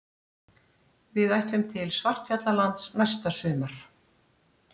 Við ætlum til Svartfjallalands næsta sumar.